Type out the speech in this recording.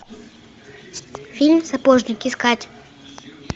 фильм сапожник искать